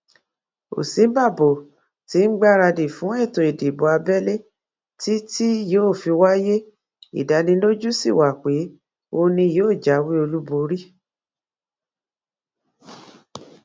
òsínbàbò tí ń gbáradì fún ètò ìdìbò abẹlé tí tí yóò wáyé ìdánilójú sí wa pé òun ni yóò jáwé olúborí